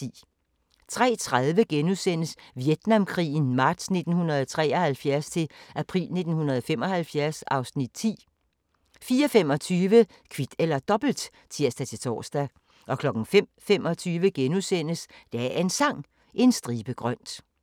03:30: Vietnamkrigen marts 1973-april 1975 (Afs. 10)* 04:25: Kvit eller Dobbelt (tir-tor) 05:25: Dagens Sang: En stribe grønt *